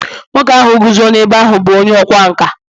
nwoke ahụ guzo n’ebe ahụ bụ onye ọkwá nkà